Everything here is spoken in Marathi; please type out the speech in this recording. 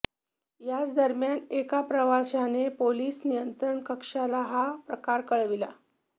याच दरम्यान एका प्रवाशाने पोलीस नियंत्रण कक्षाला हा प्रकार कळविला